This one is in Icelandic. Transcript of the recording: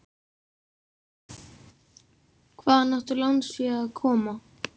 Hvaðan átti lánsfé að koma?